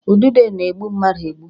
Udide na-egbu mmadụ egbu